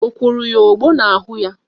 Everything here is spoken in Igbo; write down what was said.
O kworo ogbo n'ahụ ya?